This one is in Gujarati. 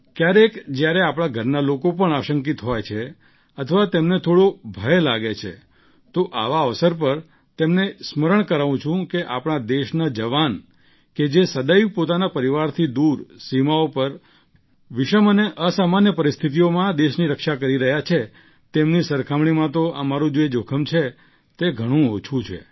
ક્યારેક જ્યારે આપણા ઘરના લોકો પણ આશંકિત હોય છે અથવા તેમને થોડો ભય લાગે છે તો આવા અવસર પર તેમને સ્મરણ કરાવું છું કે આપણા દેશના જવાન કે જે સદૈવ પોતાના પરિવારથી દૂર સીમાઓ પર વિષમ અને અસામાન્ય પરિસ્થિતિઓમાં દેશની રક્ષા કરી રહ્યા છે તેમની સરખામણીમાં તો અમારું જે જોખમ છે તે ઘણું ઓછું છે